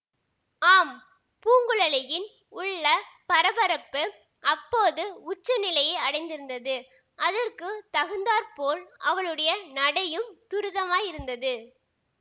ஆம் பூங்குழலியின் உள்ள பரபரப்பு அப்போது உச்ச நிலையை அடைந்திருந்தது அதற்கு தகுந்தாற்போல் அவளுடைய நடையும் துரிதமாயிருந்தது